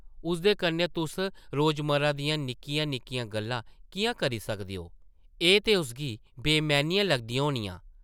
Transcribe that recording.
उसदे कन्नै तुस रोजमर्रा दियां निक्कियां-निक्कियां गल्लां किʼयां करी सकदे ओ, एह् ते उसगी बेमैह्नियां लगदियां होनियां ।